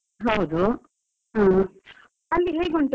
ಹಾ, ಅಲ್ಲಿ ಹೇಗ್ ಉಂಟು ವಾತಾವರಣ?